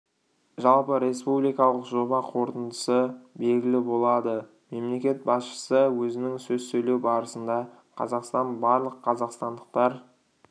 жалпы республикалық жоба қорытындысы белгілі болады мемлекет басшысы өзінің сөз сөйлеу барысында қазақстан барлық қазақстандықтар